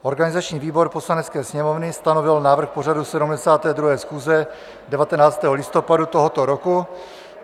Organizační výbor Poslanecké sněmovny stanovil návrh pořadu 72. schůze 19. listopadu tohoto roku.